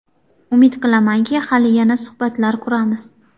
Umid qilamanki, hali yana suhbatlar quramiz.